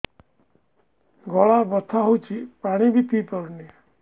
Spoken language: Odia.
ଗଳା ବଥା ହଉଚି ପାଣି ବି ପିଇ ପାରୁନି